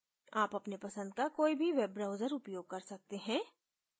आप अपने पसंद का कोई भी web browser उपयोग कर सकते हैं